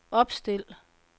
opstil